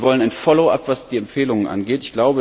Wir wollen ein Follow Up, was die Empfehlungen angeht.